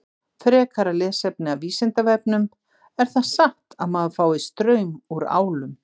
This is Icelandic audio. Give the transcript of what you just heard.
Frekara lesefni af Vísindavefnum: Er það satt að maður fái straum úr álum?